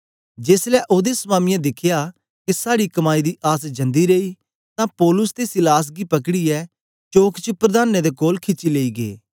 जेसलै ओदे स्वामियें दिखया के साड़ी कमाई दी आस जंदी रेई तां पौलुस ते सीलास गी पकड़ीयै चौक च प्रधानें दे कोल खिची लेई गै